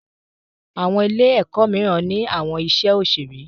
Àwọn Ilé-èkó míràn ní àwọn iṣé òṣeré.